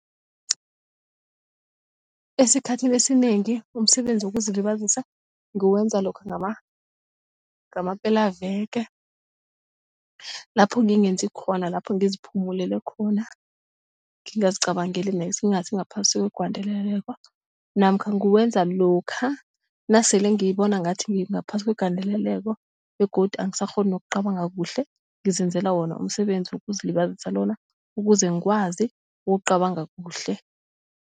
Esikhathini esinengi umsebenzi wokuzilibazisa nguwenza lokha ngamapelaveke lapho ngingenzi khona lapho ngiziphumulele khona ngingazicabangeli nex ngingasi ngaphasi kwegandeleleko namkha nguwenza lokha nasele ngibona ngathi ngaphasi kwegandeleleko begodu angisakghoni nokucabanga kuhle ngizenzela wona umsebenzi wokuzilibazisa lona ukuze ngikwazi ukucabanga kuhle.